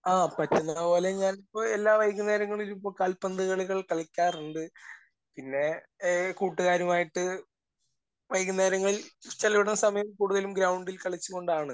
ആ. പറ്റുന്നത് പോലെ ഞാൻ ഇപ്പോൾ എല്ലാ വൈകുന്നേരങ്ങളിലും ഇപ്പോൾ കാൽപന്ത് കളികൾ കളിക്കാറുണ്ട്. പിന്നെ ഏഹ് കൂട്ടുകാരുമായിട്ട് വൈകുന്നേരങ്ങളിൽ ചിലവിടുന്ന സമയം കൂടുതലും ഗ്രൗണ്ടിൽ കളിച്ചുകൊണ്ടാണ്.